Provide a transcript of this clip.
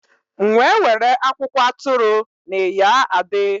M’we were akwụkwọ atụrụ n’Iya Ade.